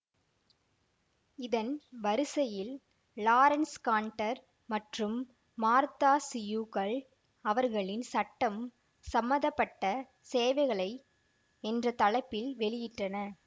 இதன் வரிசையில் Lawrence Canter மற்றும் மார்தா சியூகல் அவர்களின் சட்டம் சம்பந்த பட்ட சேவைகளை என்ற தலைப்பில் வெளியிட்டனர்